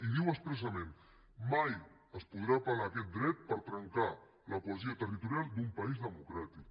i diu expressament mai es podrà apelaquest dret per trencar la cohesió territorial d’un país democràtic